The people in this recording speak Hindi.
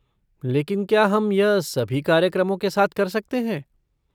लेकिन क्या यह हम सभी कार्यक्रमों के साथ कर सकते?